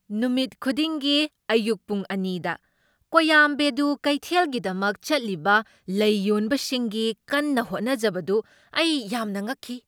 ꯅꯨꯃꯤꯠ ꯈꯨꯗꯤꯡꯒꯤ ꯑꯌꯨꯛ ꯄꯨꯡ ꯑꯅꯤꯗ ꯀꯣꯌꯥꯝꯕꯦꯗꯨ ꯀꯩꯊꯦꯜꯒꯤꯗꯃꯛ ꯆꯠꯂꯤꯕ ꯂꯩ ꯌꯣꯟꯕꯁꯤꯡꯒꯤ ꯀꯟꯅ ꯍꯣꯠꯅꯖꯕꯗꯨ ꯑꯩ ꯌꯥꯝꯅ ꯉꯛꯈꯤ꯫